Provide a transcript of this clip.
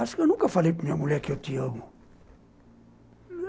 Acho que eu nunca falei para minha mulher que eu te amo.